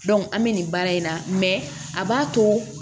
an bɛ nin baara in na a b'a to